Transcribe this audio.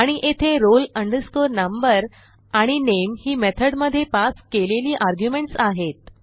आणि येथे roll number आणि नामे ही मेथड मधे पास केलेली आर्ग्युमेंट्स आहेत